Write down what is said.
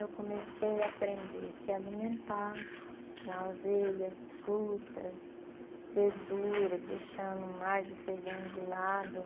Eu comecei a aprender a se alimentar com aveias, frutas, verduras, deixando mais o feijão de lado.